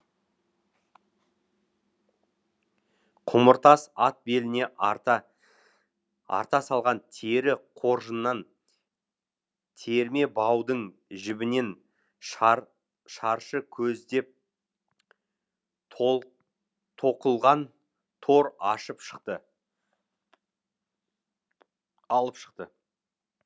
құмыртас ат беліне арта арта салған тері қоржыннан терме баудың жібінен шаршы көздеп тоқылған тор алып шықты